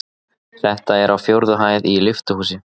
Þetta er á fjórðu hæð í lyftuhúsi.